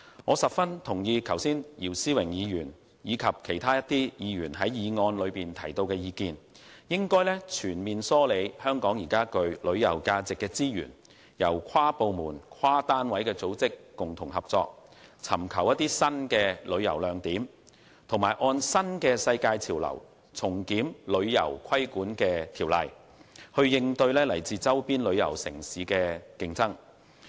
我十分認同剛才姚思榮議員及其他議員就議案提出的意見，應全面梳理香港具旅遊價值的資源，由跨部門、跨單位的組織共同合作，尋求新的旅遊亮點，按新的世界潮流重新檢討旅遊規管法例，以應對來自周邊旅遊城市的競爭。